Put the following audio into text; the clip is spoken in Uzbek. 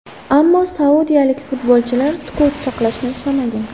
Ammo saudiyalik futbolchilar sukut saqlashni istamagan.